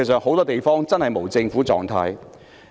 很多地方現時真的處於無政府狀態。